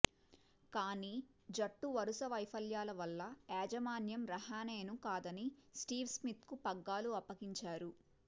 కానీ జట్టు వరుస వైఫల్యాల వల్ల యాజమాన్యం రహానెను కాదని స్టీవ్ స్మిత్కు పగ్గాలు అప్పగించారు